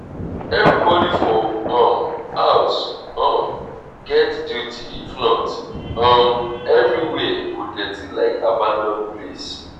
everybody for um house um get duty if not um everywhere go dirty like abandoned place.